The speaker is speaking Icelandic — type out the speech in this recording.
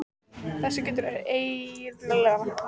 Þessu getur ein lítil naglaþjöl komið til leiðar.